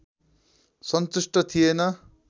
सन्तुष्ट थिएन